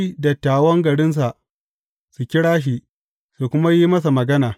Sai dattawan garinsa su kira shi, su kuma yi masa magana.